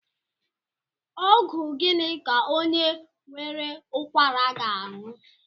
Ọgwụ gịnị ka onye nwere ụkwara ga-aṅụ?